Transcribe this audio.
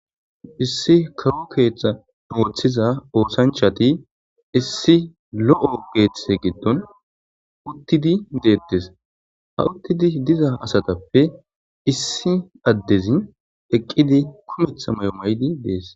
Issi karo keethta noothiza oosanchati issi lo'o geethtete giddon uttidi deettes ha uttidi diza asatappe issi addezin eqqidi kumetha may'o maydi dees.